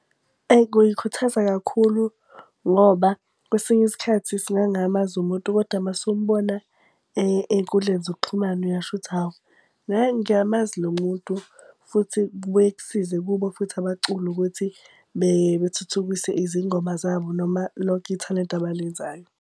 Eyi kungikhuthaza kakhulu ngoba kwesinye isikhathi singangingamazi umuntu, kodwa mase umbona ey'nkundleni zokuxhumana, uyasho ukuthi hawu hhayi ngiyamazi lo muntu. Futhi kubuye kusize kubo futhi abaculi ukuthi bethuthukise izingoma zabo noma lonke ithalente abalenzayo.